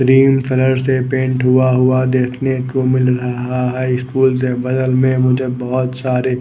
green colour से paint होआ हुआ देखने को मिल रहा है स्कूल से बगल में मुझे बहोत सारे--